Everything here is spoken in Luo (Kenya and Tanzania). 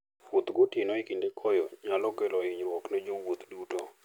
Wuoth gotieno e kinde koyo, nyalo kelo hinyruok ne jowuoth duto.